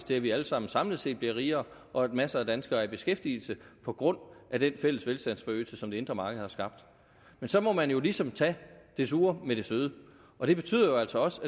til at vi alle sammen samlet set bliver rigere og at masser af danskere er i beskæftigelse på grund af den fælles velstandsforøgelse som det indre marked har skabt men så må man jo ligesom tage det sure med det søde og det betyder jo altså også